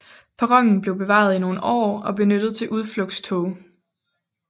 Perronen blev bevaret i nogle år og benyttet til udflugtstog